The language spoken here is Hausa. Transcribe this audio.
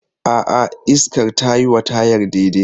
A'a, iskar tayi wa tayar daidai.